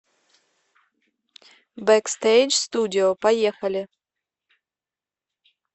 бэкстейдж студио поехали